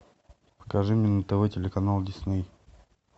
покажи мне на тв телеканал дисней